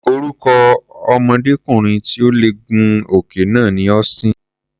Orúkọ ọmọdékùnrin tí ò lè gun òkè náà ni Austin.